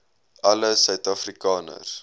alle suid afrikaners